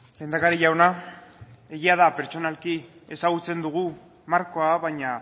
lehendakari jauna egia da pertsonalki ezagutzen dugu markoa baina